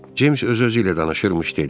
James öz-özüylə danışırmış dedi.